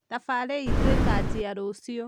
thabari itũ ikanjia rũciũ